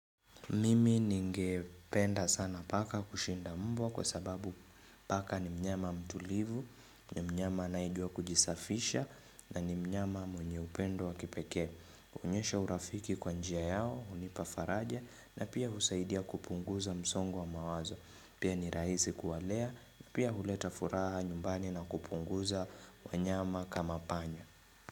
Mimi ningependa sana paka kushinda mbwa kwa sababu paka ni mnyama mtulivu, ni mnyama anayejua kujisafisha na ni mnyama mwenye upendo wa kipeke. Huonyesha urafiki kwa njia yao, hunipa faraja na pia husaidia kupunguza msongo wa mawazo. Pia ni rahisi kuwalea, pia huleta furaha nyumbani na kupunguza wanyama kama panya.